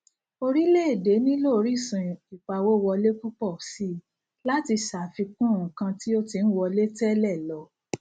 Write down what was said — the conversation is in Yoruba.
orílẹ èdè nílò orísun ìpawówọlé púpò síi láti ṣàfikún nǹkan tó ti ń wọlé tẹlẹ lọ